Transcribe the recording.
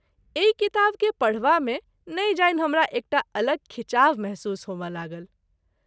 एहि किताब के पढबा मे नहिं जानि हमरा एकटा अलग खींचाव महसूस होमय लागल।